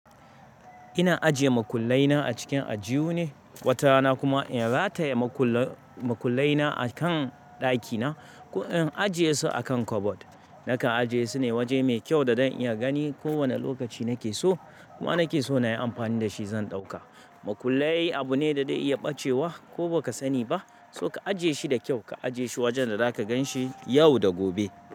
Ina ajiye makullai na a cikin ajihu ne, watarana kuma in rataye makullai na a kan ɗakina. In ajiye su a kan kabad, nakan ajiye su ne waje mai kyau da zan iya gani ko wane lokaci nake so kuma nake so na yi amfani da shi zan ɗauka. Makullai abu ne da dai iya ɓacewa ko baka sani ba, so ka ajiye shi da kyau ka ajiye shi wajen da zaka gan shi yau da gobe.